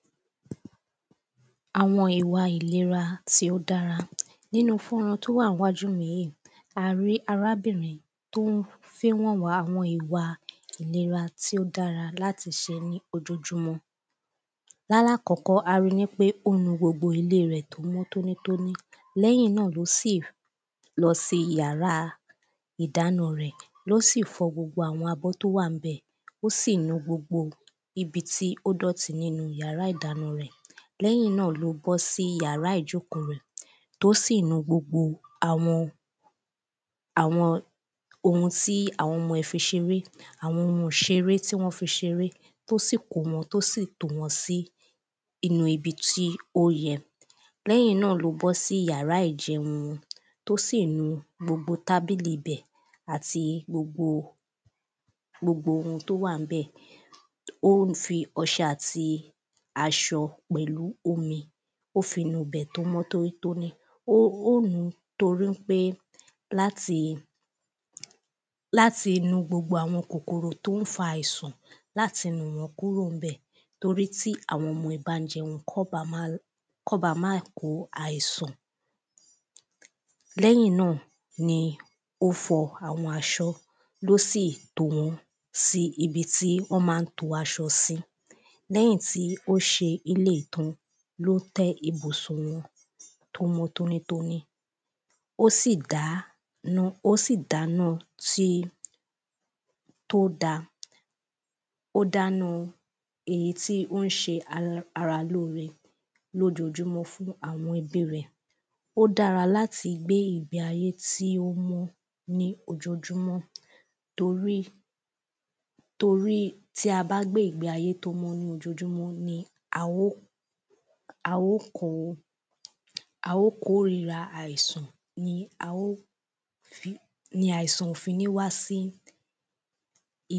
Àwọn ìwà ìlera tí ó dára nínú fọ́nrán tí ó wà ní iwájú mi yìí a rí arábìrin tí ó fín wọ̀n wá àwọn ìwà ìlera tí ó dára láti ṣe ní ojoojúmọ́ lálákọ́kọ́ ari nípé ó nu gbogbo inú ilé rẹ̀ tó mọ́ tónítóní lẹ́yìn náà ló sì lọ sí yàrá ìdáná rẹ̀ ló sì fọ gbogbo àwọn abọ́ tó wà ńbẹ̀ ó sì nu gbogbo ibi tí ó dọ̀tí nínú yàrá ìdáná rẹ̀ lẹ́yìn náà ló bọ́ sí yàrá ìjóòkó rẹ̀ tí ó sì nu gbogbo àwọn ohun tí àwọn ọmọ ẹ̀ fi ṣeré àwọn ohun ìṣeré tí wọ́n fi ṣeré tó sì kó wọn tó sì tò wọ́n sínú ibi tí ó yẹ lẹ́yìn náà ló bọ́ sí yàrá ìjẹun tó sì nu gbogbo tábìlì ibẹ̀ àti gbogbo ohun tó wà ńbẹ̀ ó ń fi ọṣẹ àti aṣọ pẹ̀lú omi ó fi nu ibẹ̀ tó mọ́ tónítóní ó nùú torípé láti nu gbogbo àwọn kòkòrò tó ń fa àìsàn láti nù wọ́n kúrò níbẹ̀ torí tí àwọn ọmọ ẹ̀ bá jẹun kọ́n ba má kó àìsàn lẹ́yìn náà ni ó fọ àwọn aṣọ ló sì tò wọ́n sí ibi tí wọ́n máa ń to aṣọ sí lẹ́yìn tí ó ṣe eléyìí tán ní ó tẹ́ ibùsùn wọn tó mọ̀ tónítóní ó sì dáná ó sì dáná tí ó dáa ó dánáa èyí tí ó ń ṣe ara lóore lójoojúmọ́ fún àwọn ẹbí rẹ̀ ó dára láti gbé ìgbé ayé tí ó mọ́ ní ojoojúmọ́ torí tí a bá gbé ìgbé ayé tó mọ́ ní ojoojúmọ́ ni a ó kórira àìsàn ni a ó ni àìsàn ò fi ní wá sí.